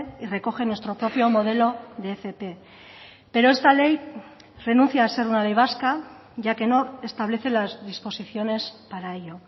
y recoge nuestro propio modelo de fp pero esta ley renuncia a ser una ley vasca ya que no establece las disposiciones para ello